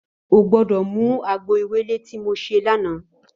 Ó gbòdò mú àgbó éwélé ti mó sé làná